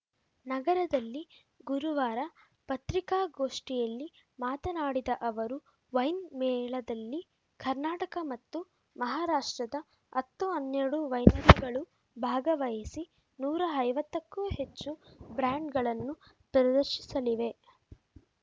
ನಗರದಲ್ಲಿ ಗುರುವಾರ ಪತ್ರಿಕಾಗೋಷ್ಠಿಯಲ್ಲಿ ಮಾತನಾಡಿದ ಅವರು ವೈನ್‌ಮೇಳದಲ್ಲಿ ಕರ್ನಾಟಕ ಮತ್ತು ಮಹಾರಾಷ್ಟ್ರದ ಹತ್ತುಹನ್ನೆರಡು ವೈನರಿಗಳು ಭಾಗವಹಿಸಿ ನೂರಾ ಐವತ್ತಕ್ಕೂ ಹೆಚ್ಚು ಬ್ರಾಂಡ್‌ಗಳನ್ನು ಪ್ರದರ್ಶಿಸಲಿವೆ